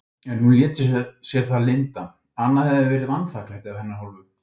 En hún lét sér það lynda, annað hefði verið vanþakklæti af hennar hálfu.